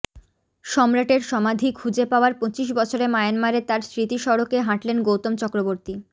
সম্রাটের সমাধি খুঁজে পাওয়ার পঁচিশ বছরে মায়ানমারে তাঁর স্মৃতিসড়কে হাঁটলেন গৌতম চক্রবর্তী